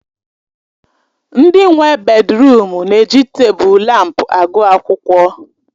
Ndị nwe bèdrụm na-eji tebụl lámpu agụ akwụkwọ.